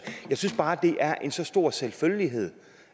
jeg synes bare at det er en så stor selvfølgelighed